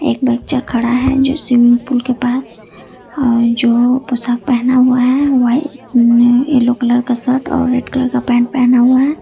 एक बच्चा खड़ा है जो स्विमिंग पूल के पास और जो पोशाक पहना हुआ है वाइट येलो कलर का शर्ट और रेड कलर का पैंट पहना हुआ है।